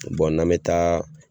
n'an mɛ taa